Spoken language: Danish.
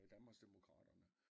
Med Danmarksdemokraterne